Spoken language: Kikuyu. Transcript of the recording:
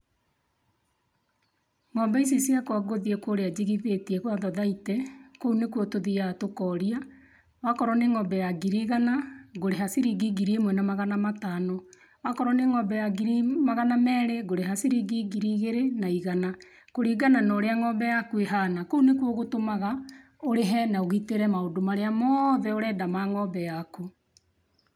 Ng'ombe ici ciakwa ngũthiĩ kũrĩa njigithĩtie gwa thathaitĩ , kũu nĩkũo tũthiaga tũkoria wakorwo nĩ ng'ombe ya ngiri igana ngũrĩha ciringi ngiri ĩmwe na magana matano, akorwo nĩ ng'ombe ya ngiri magana merĩ ngũrĩha ciringi ngiri igĩrĩ na igana kũlingana na ũrĩa ng'ombe yakũ ĩhana kũu nĩkũo gũtũmaga ũrĩhe na ũgĩtĩre maũndũ marĩa mothe ũrenda ma ng'ombe makũ.